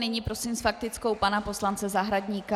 Nyní prosím s faktickou pana poslance Zahradníka.